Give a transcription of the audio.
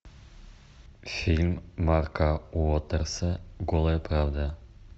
фильм марка уотерса голая правда